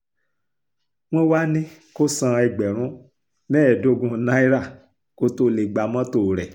wọ́n wàá ní kó san ẹgbẹ̀rún mẹ́ẹ̀ẹ́dógún náírà kó tóó lè gba mọ́tò rẹ